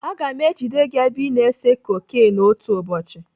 Aga m ejide gị ebe ị na-ese koken otu ụbọchị.